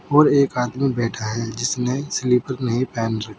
और एक आदमी बैठा है जिसने स्लीपर नहीं पहन रखी--